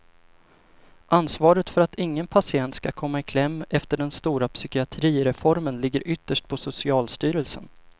Ansvaret för att ingen patient skulle komma i kläm efter den stora psykiatrireformen ligger ytterst på socialstyrelsen.